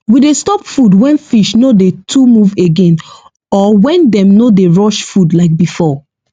we dey stop food when fish no dey too move again or when dem no dey rush food like before